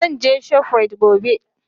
Zan je shoprite gobe.